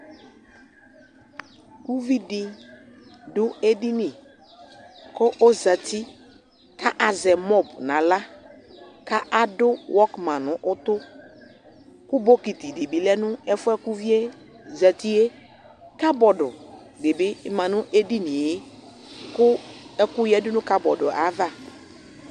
Uvi dɩ dʋ edini kʋ ɔzati kʋ azɛ mɔb nʋ aɣla kʋ adʋ wɔkman nʋ ʋtʋ kʋ bokiti dɩ lɛ ɛfʋ yɛ kʋ uvi yɛ zati yɛ Kabɔd dɩ bɩ ma nʋ edini yɛ kʋ ɛkʋ yǝdu nʋ kabɔd yɛ ava